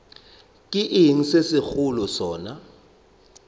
ke eng se segolo sona